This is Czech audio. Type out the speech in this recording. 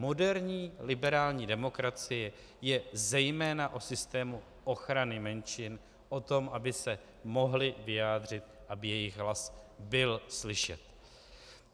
Moderní liberální demokracie je zejména o systému ochrany menšin, o tom, aby se mohly vyjádřit, aby jejich hlas byl slyšet.